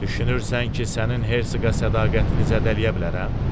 Düşünürsən ki, sənin Hersoqa sədaqətini zədələyə bilərəm?